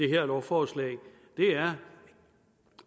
her lovforslag